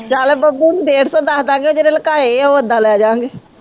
ਚਲ ਬੱਬੂ ਨੂੰ ਡੇਢ ਸੌ ਦਸਦਾ ਗੇ ਉਹ ਜਿਹੜੇ ਲੁਕਾਏ ਆ ਉਹ ਓਦਾਂ ਲੈ ਜਾ ਗਏ।